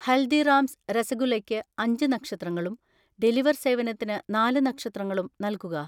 ഹൽദിറാംസ് രസഗുല്ലക്ക് അഞ്ച് നക്ഷത്രങ്ങളും ഡെലിവർ സേവനത്തിന് നാല് നക്ഷത്രങ്ങളും നൽകുക.